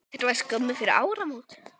Þetta var skömmu fyrir áramót.